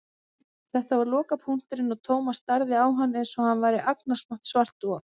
Þetta var lokapunkturinn og Thomas starði á hann einsog hann væri agnarsmátt svart op.